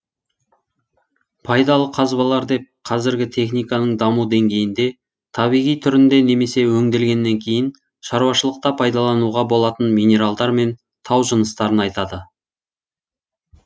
пайдалы қазбалар деп қазіргі техниканың даму деңгейінде табиғи түрінде немесе өңделгеннен кейін шаруашылықта пайдалануға болатын минералдар мен тау жыныстарын айтады